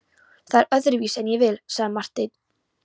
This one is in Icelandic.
Það er öðruvísi en ég vil, sagði Marteinn.